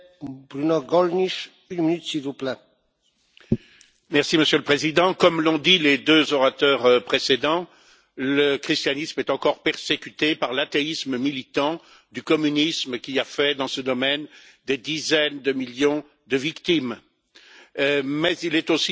Monsieur le Président, comme l'ont dit les deux orateurs précédents, le christianisme est encore persécuté par l'athéisme militant du communisme qui a fait, dans ce domaine, des dizaines de millions de victimes. Mais il est aussi persécuté, bien sûr et principalement aujourd'hui, par l'islamisme.